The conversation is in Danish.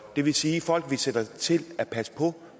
det vil sige folk vi sætter til at passe på